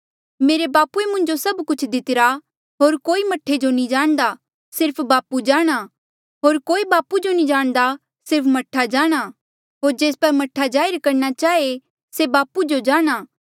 मेरे बापूए मुंजो सब कुछ दितिरा होर कोई मह्ठे जो नी जाणदा सिर्फ बापू जाणा होर कोई बापू जो नी जाणदा सिर्फ मह्ठा जाणा होर जेस पर मह्ठा जाहिर करणा चाहे से बापू जो जाणा